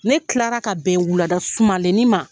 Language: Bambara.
Ne tilara ka bɛn wulada sumalenni ma.